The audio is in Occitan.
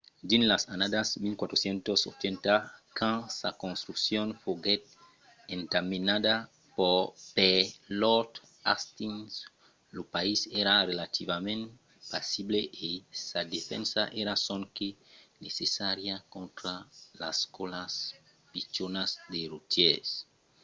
dins las annadas 1480 quand sa construccion foguèt entamenada per lord hastings lo país èra relativament pasible e sa defensa èra sonque necessària contra las còlas pichonas de rotièrs